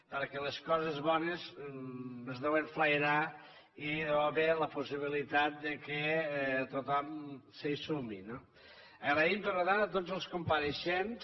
perquè les coses bones es deuen flairar i hi ha d’haver la possibilitat que tothom s’hi sumi no donem les gràcies per tant a tots els compareixents